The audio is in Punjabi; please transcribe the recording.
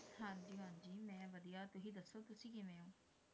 ਹਾਂਜੀ ਹਾਂਜੀ ਮੈਂ ਵਧੀਆ, ਤੁਸੀਂ ਦੱਸੋ ਤੁਸੀਂ ਕਿਵੇਂ ਹੋ?